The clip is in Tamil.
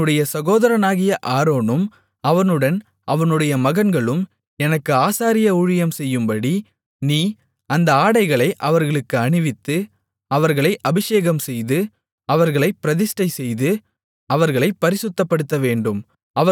உன்னுடைய சகோதரனாகிய ஆரோனும் அவனுடன் அவனுடைய மகன்களும் எனக்கு ஆசாரிய ஊழியம் செய்யும்படி நீ அந்த ஆடைகளை அவர்களுக்கு அணிவித்து அவர்களை அபிஷேகம்செய்து அவர்களைப் பிரதிஷ்டைசெய்து அவர்களைப் பரிசுத்தப்படுத்தவேண்டும்